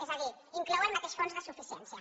és a dir inclou el mateix fons de suficiència